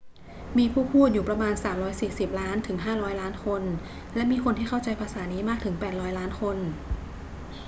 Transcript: มีผู้พูดอยู่ประมาณ 340 ล้านถึง 500 ล้านคน และมีคนที่เข้าใจภาษานี้มากถึง 800 ล้านคน